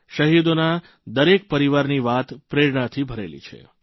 શહીદોના દરેક પરિવારની વાત પ્રેરણાથી ભરેલી છે